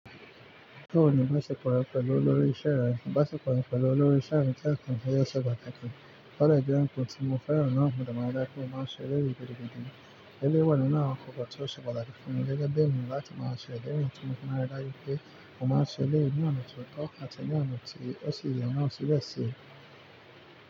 Nnkan pataki lọrọ cream ti mo fẹràn na, mo dẹ ma n wa bi mo se ma sọ́ ni ode pataki, mo ma n se eleyii ni ọna ti o tọ ati eyi ti oye.